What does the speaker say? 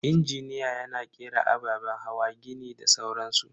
Injiniya yana kera ababen hawa, gini da sauran su.